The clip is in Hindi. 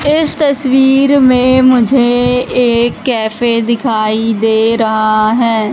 इस तस्वीर में मुझे एक कैफे दिखाई दे रहा है।